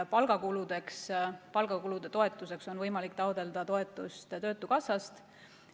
Palgakuludeks, palgakulude toetuseks on võimalik taotleda toetust töötukassast.